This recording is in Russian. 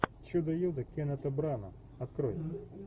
чудо юдо кеннета брана открой